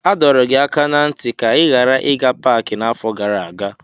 A dọrọ gị aka ná ntị ka ị ghara ịga paaki n'afọ gara aga.